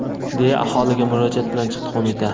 deya aholiga murojaat bilan chiqdi qo‘mita.